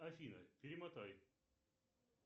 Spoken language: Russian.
афина перемотай